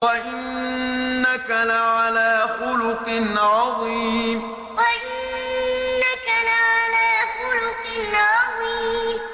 وَإِنَّكَ لَعَلَىٰ خُلُقٍ عَظِيمٍ وَإِنَّكَ لَعَلَىٰ خُلُقٍ عَظِيمٍ